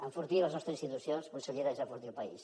enfortir les nostres institucions consellera és enfortir el país